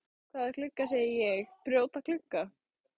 Hvaða glugga segi ég, brjóta glugga?